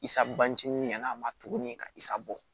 Isa bancinin nana ma tuguni kasa bɔ